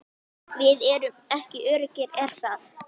Við erum ekki öruggir er það?